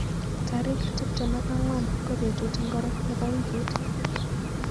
Tarik tuptem ak angwan ko betut ngiro nebo wiikit